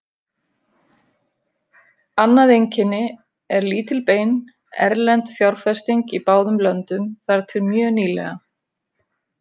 Annað einkenni er lítil bein erlend fjárfesting í báðum löndum þar til mjög nýlega.